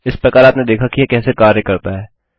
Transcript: इस प्रकार आपने देखा कि यह कैसे कार्य करता है